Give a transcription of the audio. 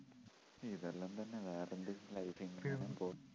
ഇതെല്ലം തന്നെ വേറെന്ത് life ഇങ്ങനെ പോകുന്നു